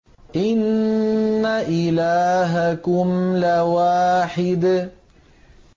إِنَّ إِلَٰهَكُمْ لَوَاحِدٌ